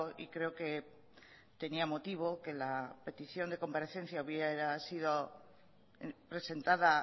y creo que tenía motivo que la petición de comparecencia hubiera sido presentada